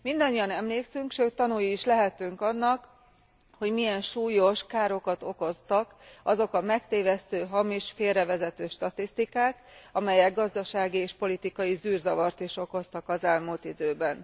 Mindannyian emlékszünk, sőt tanúi is lehetünk annak, hogy milyen súlyos károkat okoztak azok a megtévesztő, hamis, félrevezető statisztikák, amelyek gazdasági és politikai zűrzavart is okoztak az elmúlt időben.